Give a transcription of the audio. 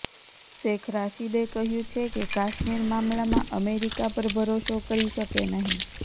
શેખ રાશીદે કહ્યુ છે કે કાશ્મીર મામલામાં અમેરિકા પર ભરોસો કરી શકે નહીં